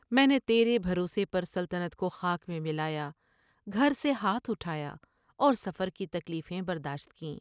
میں نے تیرے بھروسے پر سلطنت کو خاک میں ملایا ، گھر سے ہاتھ اٹھایا اور سفر کی تکلیفیں برداشت کیں ۔